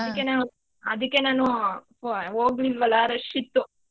ಅದಕ್ಕೆ ನಾನು ಹೋಗ್ಲಿಲ್ವಲ್ಲಾ rush ಇತ್ತು.